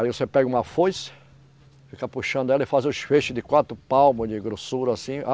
Aí você pega uma foice, fica puxando ela e faz os feixes de quatro palmos de grossura, assim.